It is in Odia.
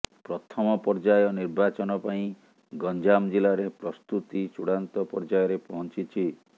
ପ୍ରଥମ ପର୍ଯ୍ୟାୟ ନିର୍ବାଚନ ପାଇଁ ଗଞ୍ଜାମ ଜିଲ୍ଲାରେ ପ୍ରସ୍ତୁତି ଚୂଡାନ୍ତ ପର୍ଯ୍ୟାୟରେ ପହଞ୍ଚିଛି